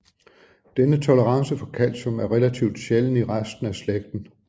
Denne tolerance for calcium er relativt sjælden i resten af slægten